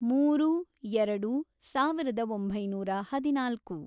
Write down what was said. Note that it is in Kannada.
ಮೂರು, ಎರಡು, ಸಾವಿರದ ಒಂಬೈನೂರ ಹದಿನಾಲ್ಕು